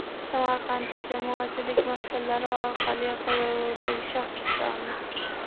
Samarqandda jamoatchilik maskanlari orqali qidiruvdagi shaxs ushlandi.